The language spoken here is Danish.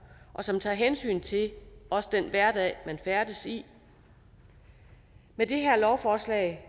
og som tager hensyn til også den hverdag man færdes i med det her lovforslag